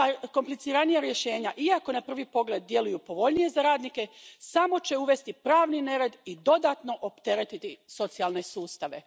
Kompliciranija rješenja, iako na prvi pogled djeluju povoljnije za radnike, samo će uvesti pravni nered i dodatno opteretiti socijalne sustave.